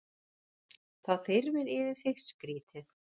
Þá þyrmir yfir þig, skrýtið.